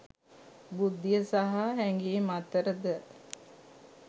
බුද්ධිය සහ හැඟීම් අතර ද